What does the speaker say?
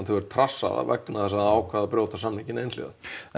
hefur trassað það vegna þess að það ákvað að brjóta samninginn alhliða